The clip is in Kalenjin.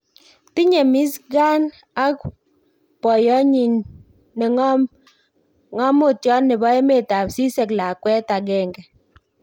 Tinye MirzKhan ak boyotnyi ne ng'amotiot nebo emet ab Czech lakwet agenge